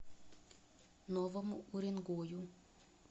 новому уренгою